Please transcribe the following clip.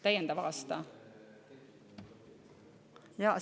Täiendav aasta?